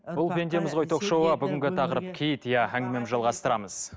бұл пендеміз ғой ток шоуы бүгінгі тақырып киіт иә әңгімемізді жалғастырамыз